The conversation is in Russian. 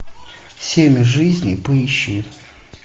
семь жизней поищи